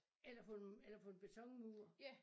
Eller på en eller på en betonmur